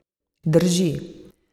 Drži.